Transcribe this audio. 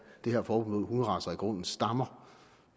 det her forbud mod hunderacer i grunden stammer